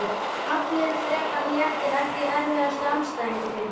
Allir frekar léttir Ekki erfiðasti andstæðingur?